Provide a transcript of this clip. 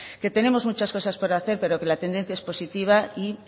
que tenemos muchas cosas por hacer pero que la tendencia es positiva y